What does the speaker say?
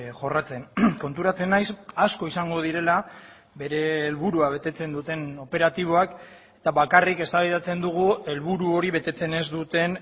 jorratzen konturatzen naiz asko izango direla bere helburua betetzen duten operatiboak eta bakarrik eztabaidatzen dugu helburu hori betetzen ez duten